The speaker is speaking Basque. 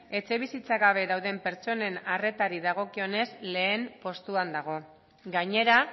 etxebizitza gabe dauden pertsonen arretari dagokionez lehen postuan dago gainera